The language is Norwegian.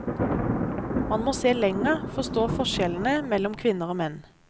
Man må se lenger, forstå forskjellene mellom kvinner og menn.